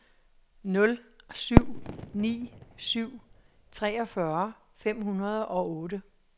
nul syv ni syv treogfyrre fem hundrede og otte